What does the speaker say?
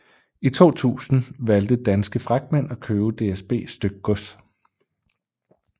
I 2000 valgte Danske Fragtmænd at købe DSB Stykgods